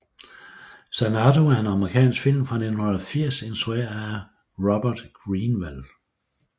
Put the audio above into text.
Xanadu er en amerikansk film fra 1980 instrueret af Robert Greenwald